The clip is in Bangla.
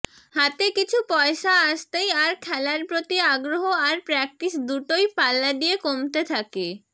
হাতে কিছু পয়সা আসতেই আর খেলার প্রতি আগ্রহ আর প্রাক্টিস দুটোই পাল্লা দিয়ে কমতে থাকে